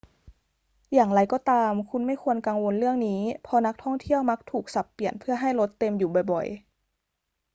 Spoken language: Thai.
อย่างไรก็ตาม คุณไม่ควรกังวลเรื่องนี้ เพราะนักท่องเที่ยวมักถูกสับเปลี่ยนเพื่อให้รถเต็มอยู่บ่อย ๆ